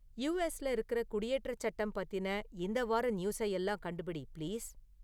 யுஎஸ்ல இருக்குற குடியேற்றச் சட்டம் பத்தின இந்த வார நியூஸை எல்லாம் கண்டுபிடி பிளீஸ்